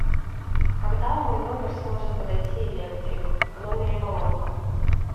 когда в мой номер сможет подойти электрик в номере поломка